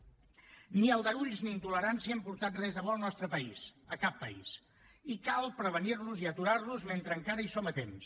ni aldarulls ni intolerància han portat res de bo al nostre país a cap país i cal prevenir los i aturar los mentre encara hi som a temps